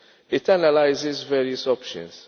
It analyses various options.